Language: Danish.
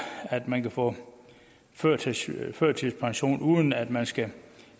at man kan få førtidspension uden at man skal